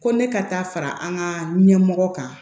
Ko ne ka taa fara an ka ɲɛmɔgɔ kan